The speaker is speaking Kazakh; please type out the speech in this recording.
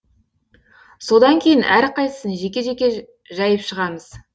содан кейін әрқайсысын жеке жеке жайып шығамыз